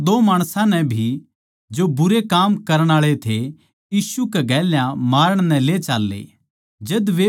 वे और दो माणसां नै भी जो भुण्डे काम करण आळे थे यीशु कै गेल्या मारण नै ले चाल्ले